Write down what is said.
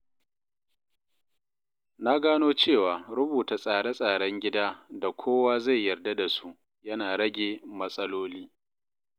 Na gano cewa rubuta tsare tsaren gida da kowa zai yarda da su yana rage matsaloli.